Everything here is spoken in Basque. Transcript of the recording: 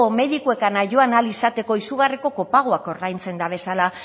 medikuekan joan ahal izateko izugarriko kopagoak ordaintzen dabezala